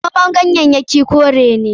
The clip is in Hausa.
Noman ganyayyaki kore ne.